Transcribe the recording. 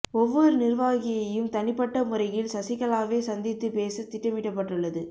ஒவ்வொரு நிர்வாகியையும் தனிப்பட்ட முறையில் சசிகலாவே சந்தித்து பேச திட்டமிடப்பட்டுள்ளது